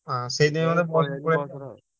ହଁ ସେଇଥିପାଇଁ